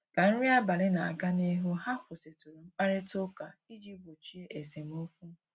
Ka nri abalị na-aga n'ihu, ha kwụsịtụrụ mkparịta ụka iji gbochie esemokwu